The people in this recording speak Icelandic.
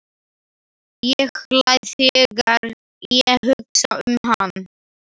Ég hlæ þegar ég hugsa um hann.